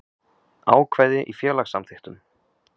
Ákvæði í félagssamþykktum.